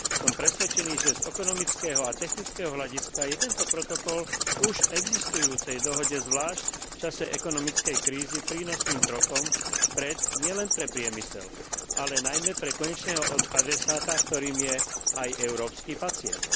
Som presvedčený, že z ekonomického a technického hľadiska je tento protokol k už existujúcej dohode zvlášť v čase ekonomickej krízy prínosným krokom vpred nielen pre priemysel, ale najmä pre konečného adresáta, ktorým je aj európsky pacient.